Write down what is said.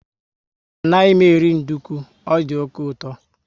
Anaghị m eri nduku, ọ dị oké uto